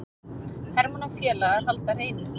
Hermann og félagar halda hreinu